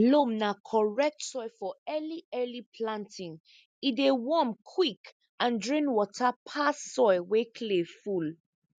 loam na correct soil for early early planting e dey warm quick and drain water pass soil wey clay full